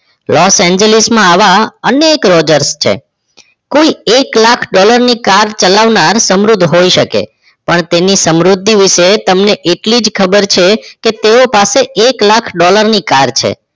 રોજરએન્જ લીસ માં આવા અનેક રોજરસ કોઈ એક લાખ ડોલરની car ચલાવનાર સમૃદ્ધ હોઈ શકે પણ તેની સમૃદ્ધિ વિશે તમને એટલી જ ખબર છે તેઓ પાસે એક લાખ ડોલર ની car છે